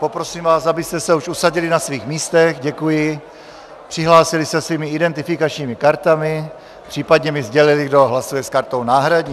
Poprosím vás, abyste se už usadili na svých místech, děkuji, přihlásili se svými identifikačními kartami, případně mi sdělili, kdo hlasuje s kartou náhradní.